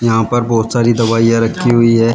यहां पर बहुत सारी दवाइयां रखी हुई है।